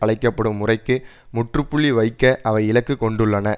அழைக்க படும் முறைக்கு முற்றுப்புள்ளி வைக்க அவை இலக்கு கொண்டுள்ளன